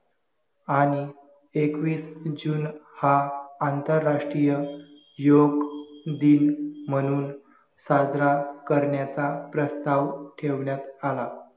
आणि एकवीस जून हा आंतरराष्ट्रीय योग दिन म्हणून साजरा करण्याचा प्रस्ताव ठेवण्यात आला